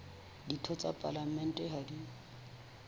ditho tsa palamente ha di